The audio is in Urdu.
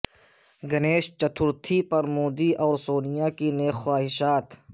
گنیش چترتھی پر مودی اور سونیا کی نیک خواہشات